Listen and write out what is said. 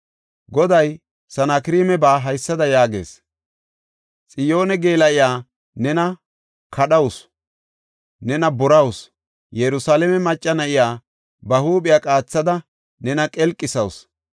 Goday Sanakreemaba haysada yaagees. “Xiyoone geela7iya nena kadhawusu; nena borawusu; Yerusalaame macca na7iya ba huuphiya qaathidi nena qelqisawusu.